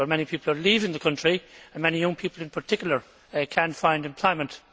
Many people are leaving the country and many young people, in particular, cannot find employment.